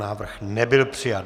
Návrh nebyl přijat.